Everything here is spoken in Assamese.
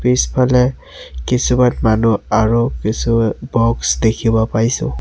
পিছফালে কিছুমান মানুহ আৰু কিছুমান বক্স দেখিব পাইছোঁ।